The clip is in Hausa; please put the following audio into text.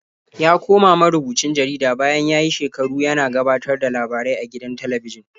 Ya koma marubucin jarida bayan ya yi shekaru yana gabatar da labarai a gidan talabijin.